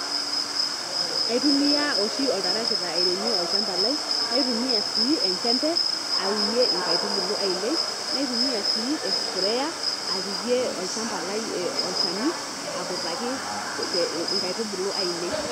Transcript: Aitumia oshi oltarakita airemie olchamba lai, naitumia sii enchembe aunie nkaitubulu ainei, naitumia sii espraya apikie olchamba lai ee olchani akutaki pee nkaitubulu ainei.